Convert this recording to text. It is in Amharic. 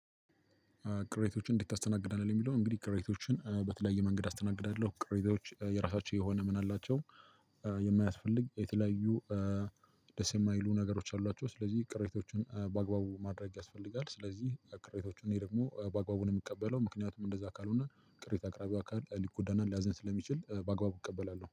ቅሬታዎችን እንዴት ታስተናግዳለህ? ለሚለው እንግዲህ ቅሬታዎችን በተለያየ መንገድ አስተናግዳለሁ ቅሬታዎች የራሳቸው የሆነ ምን አላቸው። የማያስፈልግ የተለያዩ ደስ የማይሉ ነገሮች አሏቸው። ስለዚህ ቅሬታዎችን በአግባቡ ማድረግ ያስፈልጋል። ስለዚህ ክሬታዎችን እኔ ደግሞ በአግባቡ ነው እምቀበለው። ምክንያቱም እንደዛ ካልሆነ ቅሬታ አቅራቢው አካል ሊጎዳናን ሊያዝን ስለሚችል በአግባቡ እቀበላለሁ